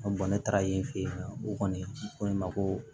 ne taara yen fɛ yen nɔ o kɔni ko ne ma ko